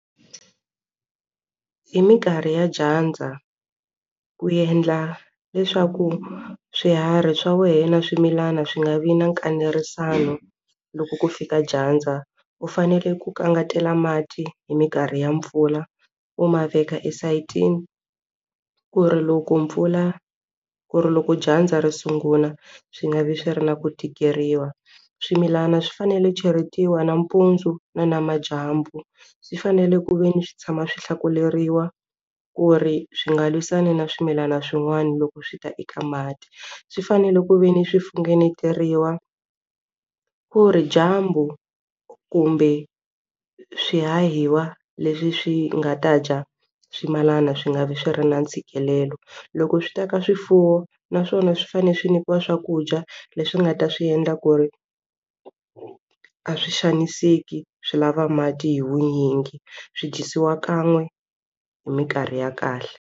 Hi minkarhi ya dyandza ku endla leswaku swiharhi swa wena na swimilana swi nga vi na loko ku fika dyandza u fanele ku kangetela mati hi minkarhi ya mpfula u ma veka esayitini ku ri loko mpfula ku ri loko dyandza ri sungula swi nga vi swi ri na ku tikeriwa swimilana swi fanele cheletiwa nampundzu na namadyambu swi fanele ku ve ni swi tshama swi hlakuleriwa ku ri swi nga lwisani na swimilana swin'wana loko swi ta eka mati swi fanele ku ve ni swi funengetiwa ku ri dyambu kumbe swihahiwa leswi swi nga ta dya swimalana swi nga vi swi ri na ntshikelelo loko swi ta ka swifuwo naswona swi fanele swi nyikiwa swakudya leswi nga ta swi endla ku ri a swi xaniseki swi lava mati hi vunyingi swi dyisiwa kan'we hi minkarhi ya kahle.